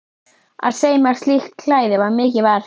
Að sauma slíkt klæði var mikið verk.